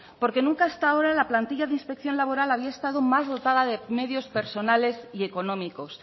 porque nunca hasta ahora la plantilla de inspección laboral había estado más dotada de medios personales y económicos